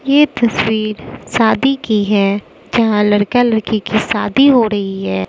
ये तस्वीर शादी की है जहां लड़का लड़की की शादी हो रही है।